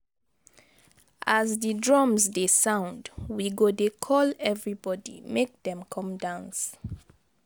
As di drums dey sound, we go dey call everybody make dem come dance.